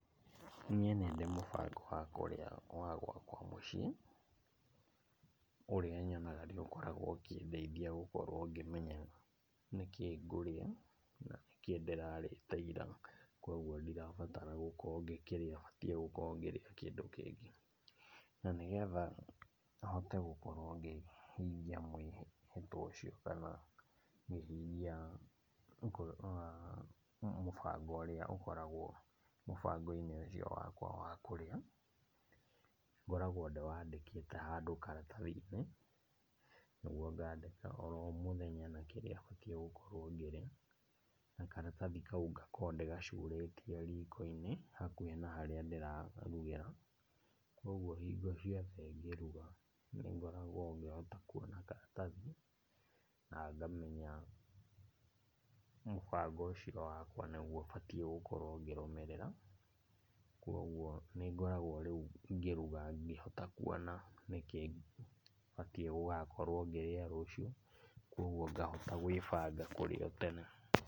Niĩ nĩndĩ mũbango wa kũrĩa wa gwakwa mũciĩ, ũrĩa nyonaga nĩũkoragwo ũkĩndeithia gũkorwo ngĩmenya nĩkĩĩ ngũrĩa, na nĩkĩĩ ndĩrarĩte ira. Koguo ndirabatara gũkorwo ngĩkĩrĩa batiĩ gũkorwo ngĩrĩa kĩndũ kĩngĩ. Na nĩgetha hote gũkorwo ngĩhingia mwĩhĩtwo ũcio kana hihi iria mũbango ũrĩa ũkoragwo mũbango-inĩ ũcio wakwa wa kũrĩa. Ngoragwo ndĩwandĩkĩte handũ karatathi-inĩ, nĩguo ngandĩka oro mũthenya na kĩrĩa batiĩ gũkorwo ngĩrĩa, na karathi kau ngakorwo ndĩgacurĩtie riko-inĩ hakuhĩ na harĩa ndĩrarugĩra. Koguo hingo ciothe ngĩruga nĩngoragwo ngĩhota kuona karatathi na ngamenya mũbango ũcio wakwa nĩguo batiĩ gũkorwo ngĩrũmĩrĩra. Kwoguo nĩngoragwo rĩu ngĩruga ngĩhota kuona nĩkĩ batiĩ gũgakorwo ngĩrĩa rũciũ, koguo ngahota gwĩbanga kũrĩ o tene.